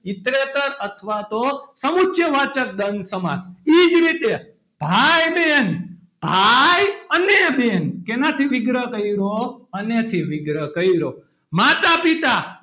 ઇતરેતર અથવા તો સમુચ્ય વાચક દ્વંદ સમાસ એ જ રીતે ભાઈ બહેન ભાઈ અને બહેન શેનાથી વિગ્રહ કર્યો. અને થી વિગ્રહ કર્યો. માતા -પિતા,